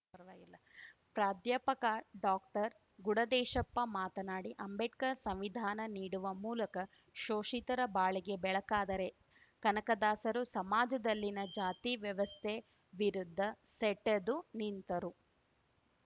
ಪರ್ವಾಗಿಲ್ಲ ಪ್ರಾಧ್ಯಾಪಕ ಡಾಕ್ಟರ್ಗುಡದೇಶಪ್ಪ ಮಾತನಾಡಿ ಅಂಬೇಡ್ಕರ್‌ ಸಂವಿಧಾನ ನೀಡುವ ಮೂಲಕ ಶೋಷಿತರ ಬಾಳಿಗೆ ಬೆಳಕಾದರೆ ಕನಕದಾಸರು ಸಮಾಜದಲ್ಲಿನ ಜಾತಿ ವ್ಯವಸ್ಥೆ ವಿರುದ್ಧ ಸೆಟೆದು ನಿಂತರು